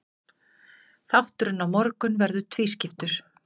Þátturinn á morgun verður tvískiptur.